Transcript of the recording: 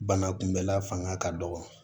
Bana kunbɛla fanga ka dɔgɔ